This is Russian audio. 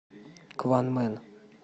кванмен